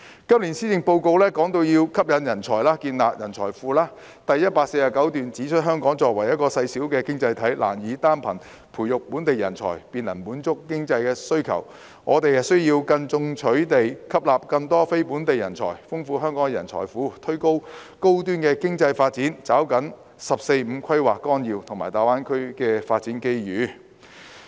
今年施政報告提出要吸引人才，建立人才庫，第149段指出："香港作為一個細小經濟體，難以單憑培育本地人才便能滿足經濟發展需求，我們需要更進取地吸納更多非本地人才，豐富香港的人才庫，推動高端經濟發展和抓緊《十四五規劃綱要》和大灣區的發展機遇。